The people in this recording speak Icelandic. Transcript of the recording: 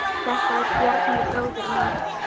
Þetta er Bjarni, bróðir minn.